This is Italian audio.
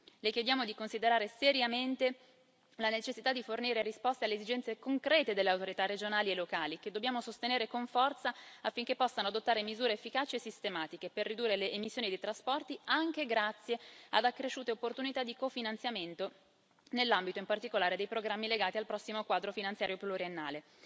Le chiediamo di considerare seriamente la necessità di fornire risposte alle esigenze concrete delle autorità regionali e locali, che dobbiamo sostenere con forza affinché possano adottare misure efficaci e sistematiche per ridurre le emissioni dei trasporti, anche grazie ad accresciute opportunità di cofinanziamento nell'ambito in particolare dei programmi legati al prossimo Quadro finanziario pluriennale.